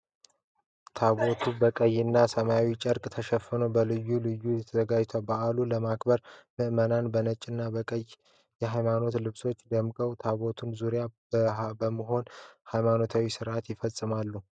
ታቦቱ በቀይና ሰማያዊ ጨርቅ ተሸፍኖ በልዩ ሁኔታ ተዘጋጅቷል። በዓሉን ለማክበር ምእመናን በነጭና በቀይ የሃይማኖታዊ ልብሶች ደምቀው ታቦቱን ዙሪያ በመሆን ሃይማኖታዊ ስርዓቱን ይፈጽማሉ።